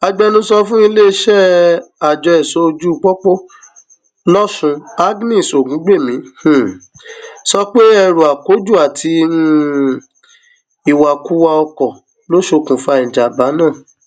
agbẹnusọ fún iléeṣẹ àjọ ẹṣọojúpọpọ lòsùn agnès ògúngbẹmí um sọ pé ẹrú akójú àti um ìwàkuwà ọkọ ló ṣokùnfà ìjàḿbà náà